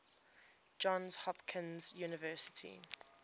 johns hopkins university